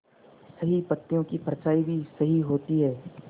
सही पत्तियों की परछाईं भी सही होती है